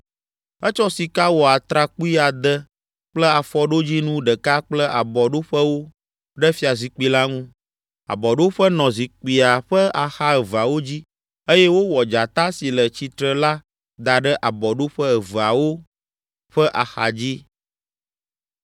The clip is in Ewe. Etsɔ sika wɔ atrakpui ade kple afɔɖodzinu ɖeka kple abɔɖoƒewo ɖe fiazikpui la ŋu. Abɔɖoƒe nɔ zikpuia ƒe axa eveawo dzi eye wowɔ dzata si le tsitre la da ɖe abɔɖoƒe aveawo ƒe axadzi.